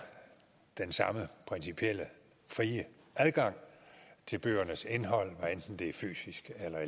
den samme principielle frie adgang til bøgernes indhold hvad enten det er fysisk eller